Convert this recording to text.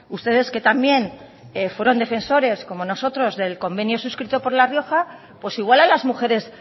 ustedes que también fueron defensores como nosotros del convenio suscrito por la rioja pues igual a las mujeres